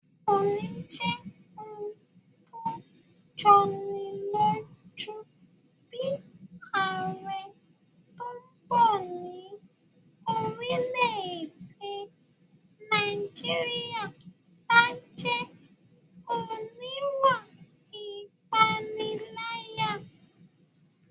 Kò ní jẹ́ ohun tó jọni lójú bí ààrẹ tó bọ̀ ní orílẹ̀-èdè Nàìjíríyà bá jẹ́ oníwà ìpániláyà